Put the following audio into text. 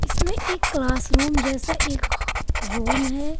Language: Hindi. इसमें एक क्लास रूम जैसा एक रूम है।